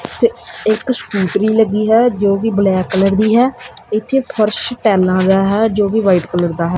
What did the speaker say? ਇਥੇ ਇਕ ਸਕੂਟਰੀ ਲੱਗੀ ਹੈ ਜੋ ਕਿ ਬਲੈਕ ਕਲਰ ਦੀ ਹੈ ਇੱਥੇ ਫਰਸ਼ ਟਾਇਲਾਂ ਦਾ ਹੈ ਜੋ ਵੀ ਵਾਈਟ ਕਲਰ ਦਾ ਹੈ।